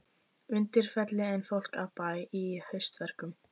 Undirfelli en fólk af bæ í haustverkum.